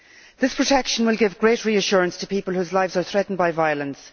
This protection will give great reassurance to people whose lives are threatened by violence.